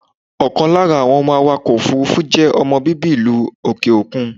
Ọ̀kan lára àwọn awàkọ̀ òfúrúfú je ọmọ bíbí ìlú òkè okun.